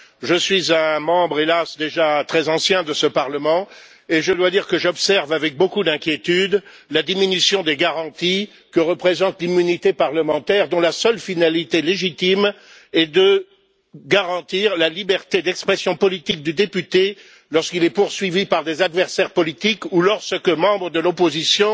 Je suis un membre, hélas, déjà très ancien de ce Parlement et je dois dire que j'observe avec beaucoup d'inquiétude la diminution des garanties que représente l'immunité parlementaire, dont la seule finalité légitime est de garantir la liberté d'expression politique du député lorsqu'il est poursuivi par des adversaires politiques ou lorsque, membre de l'opposition,